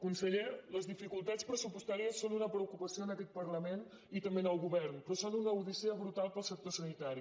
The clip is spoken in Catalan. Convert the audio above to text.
conseller les dificultats pressupostàries són una preocupació en aquest parlament i també en el govern però són una odissea brutal per al sector sanitari